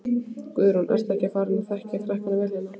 Guðrún: Ertu ekki farin að þekkja krakkana vel hérna?